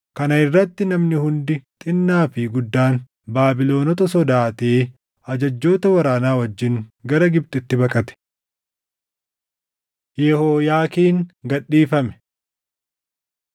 Kana irratti namni hundi xinnaa fi guddaan, Baabilonota sodaatee ajajjoota waraanaa wajjin gara Gibxitti baqate. Yehooyaakiin Gad Dhiifame 25:27‑30 kwf – Erm 52:31‑34